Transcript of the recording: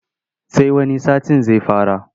Sai wani satin zai fara.